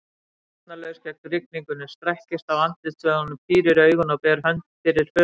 Varnarlaus gegn rigningunni, strekkist á andlitsvöðvunum, pírir augun og ber hönd fyrir höfuð.